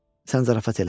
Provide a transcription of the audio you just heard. Sən zarafat elə.